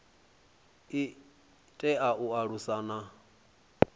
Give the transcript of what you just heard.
i tea u alusa na